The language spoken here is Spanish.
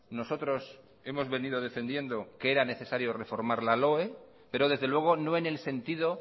nosotros hemos venido defendiendo que era necesario reformar la loe pero desde luego no en el sentido